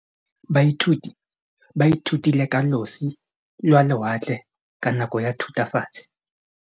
Baithuti ba ithutile ka losi lwa lewatle ka nako ya Thutafatshe.